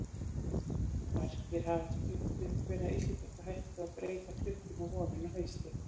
Margir hafa spurt um hvenær Íslendingar hættu að breyta klukkunni á vorin og haustin.